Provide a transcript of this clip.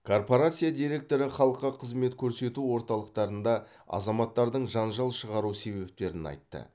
корпорация директоры халыққа қызмет көрсету орталықтарында азаматтардың жанжал шығару себептерін айтты